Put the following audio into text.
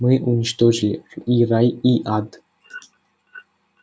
мы уничтожили и рай и ад